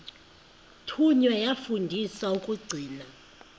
thunywa yafundiswa ukugcina